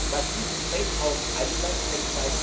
Was diesen Zeitraum, seit